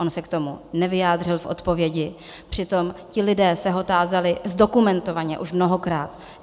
On se k tomu nevyjádřil v odpovědi, přitom ti lidé se ho tázali, zdokumentovaně, už mnohokrát.